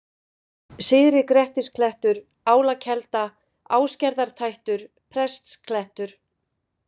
Syðri-Grettisklettur, Álakelda, Ásgerðartættur, Prestsklettur